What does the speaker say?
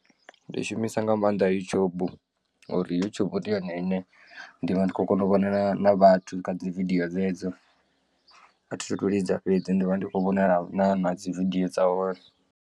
Ndi shumisa nga maanḓa YouTube ngauri YouTube ndi yone ine ndi vha ndi khou kona u vhona na vhathu na dzi video dzedzo athi thu tu lidza fhedzi ndi vha ndi khou vhona na na dzi video dza hone.